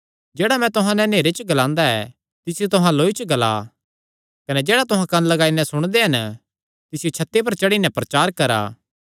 जेह्ड़ा मैं तुहां नैं नेहरे च ग्लांदा ऐ तिसियो तुहां लौई च ग्ला कने जेह्ड़ा तुहां कंन्न लगाई नैं सुणदे हन तिसियो छत्ती पर चढ़ी नैं प्रचार करा